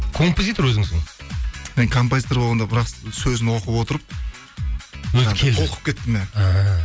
композитор өзіңсің мен композитор болғанда біраз сөзін оқып отырып толқып кеттім иә іхі